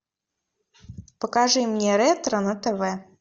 покажи мне ретро на тв